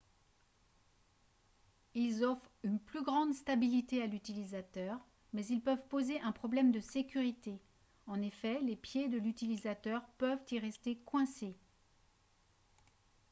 ils offrent une plus grande stabilité à l'utilisateur mais ils peuvent poser un problème de sécurité en effet les pieds de l'utilisateur peuvent y rester coincés